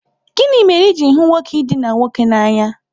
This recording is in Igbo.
Gịnị mere i ji hụ nwoke idina nwoke n'anya?